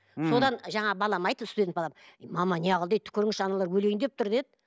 содан жаңағы балам айтты студент балам мама не қыл дейді түкіріңізші аналар өлейін деп тұр деді